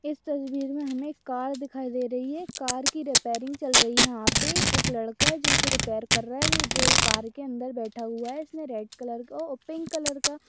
इस तस्वीर मे हमे एक कार दिखाई दे रही है कार की रिपेरिंग चल रही यहा पे एक लड़का जो इसे रिपेअर कर रहा है वो जो कार के अंदर बैठा हुआ है इसने रेड कलर का और पिंक कलर का--